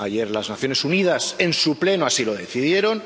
ayer las Naciones Unidas, en su Pleno, así lo decidieron.